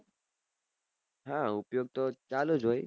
હા ઉપયોગ તો ચાલુ હોય